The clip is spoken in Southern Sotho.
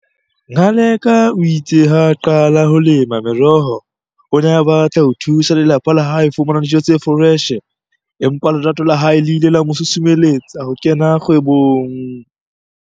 Ngaleka o itse ha a qala ho lema meroho, o ne a batla ho thusa lelapa la hae ho fumana dijo tse foreshe empa lerato la hae le ile la mosusumeletsa ho kena kgwebong.